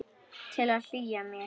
Til að hlýja mér.